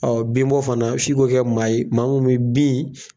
Ɔ bin bɔ fana fi k'o kɛ maa ye, maa mun bɛ bin.